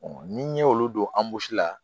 ni n ye olu don la